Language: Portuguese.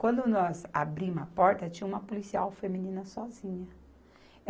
Quando nós abrimos a porta, tinha uma policial feminina sozinha.